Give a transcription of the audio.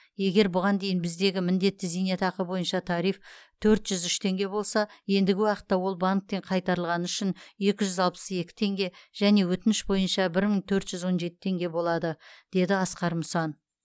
егер бұған дейін біздегі міндетті зейнетақы бойынша тариф төрт жүз үш теңге болса ендігі уақытта ол банктен қайтарылғаны үшін екі жүз алпыс екі теңге және өтініш бойынша бір мың төрт жүз он жеті теңге болады деді асқар мұсан